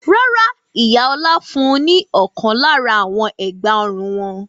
Rárá, ìyá Ọlá fún ní ọ̀kan lára àwọn ẹ̀gbá-ọrùn wọn.